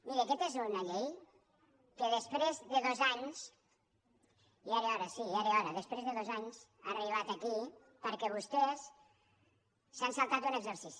miri aquesta és una llei que després de dos anys ja era hora sí ja era hora ha arribat aquí perquè vostès s’han saltat un exercici